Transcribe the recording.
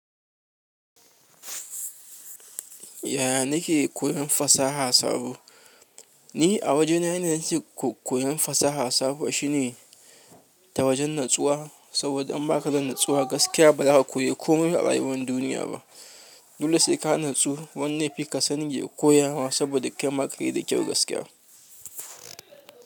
Yaya na ke koyon fasaha sabo? Ni a wajena yanayin ciki koyon fasaha sabuwa shine ta wajen natsuwa, saboda in ba ka da natsuwa gaskiya ba, ba za ka koyi komai a rayuwar duniya ba. Dole sai ka natsu. Wanda ya fi ka sani ya koya ma saboda kai ma ka yi da kyau gaskiya.